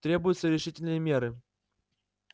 требуются решительные меры